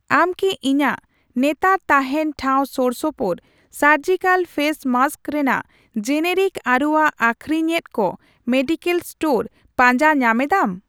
ᱟᱢ ᱠᱤ ᱤᱧᱟᱜ ᱱᱮᱛᱟᱨ ᱛᱟᱦᱮᱱ ᱴᱷᱟᱣ ᱥᱳᱨᱥᱳᱯᱳᱨ ᱥᱟᱨᱡᱤᱠᱟᱞ ᱯᱷᱮᱥ ᱢᱟᱥᱠ ᱨᱮᱱᱟᱜ ᱡᱮᱱᱮᱨᱤᱠ ᱟᱹᱨᱩᱣᱟᱜ ᱟᱹᱠᱷᱨᱤᱧ ᱮᱫ ᱠᱚ ᱢᱮᱰᱤᱠᱮᱞ ᱮᱥᱴᱳᱨ ᱯᱟᱸᱡᱟ ᱧᱟᱢᱮᱫᱟᱢ ?